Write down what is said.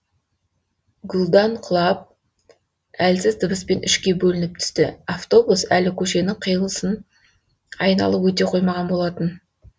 гүлдан құлап әлсіз дыбыспен үшке бөлініп түсті автобус әлі көшенің қилысын айналып өте қоймаған болатын